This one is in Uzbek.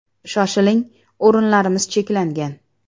Shoshiling, o‘rinlarimiz cheklangan.